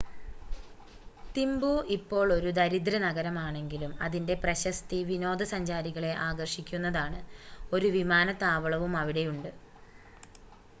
തിംബു ഇപ്പോൾ ഒരു ദരിദ്ര നഗരമാണെങ്കിലും അതിൻ്റെ പ്രശസ്തി വിനോദ സഞ്ചാരികളെ ആകർഷിക്കുന്നതാണ് ഒരു വിമാനത്താവളവും അവിടെയുണ്ട്